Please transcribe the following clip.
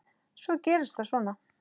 Svo gerist það svona.